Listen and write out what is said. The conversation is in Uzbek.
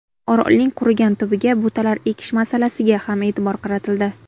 Orolning qurigan tubiga butalar ekish masalasiga ham e’tibor qaratildi.